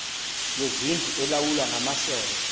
kwezindlu elawulwa ngamasebe